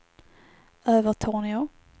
Övertorneå